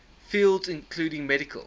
fields including medical